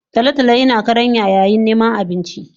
Tolo tolo yina karanya yayin niman abinci